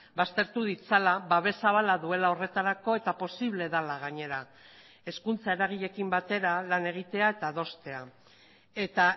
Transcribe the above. baztertu ditzala babes zabala duela horretarako eta posible dela gainera hezkuntza eragileekin batera lan egitea eta adostea eta